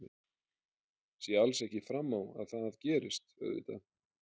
Sé alls ekki fram á að það gerist auðvitað.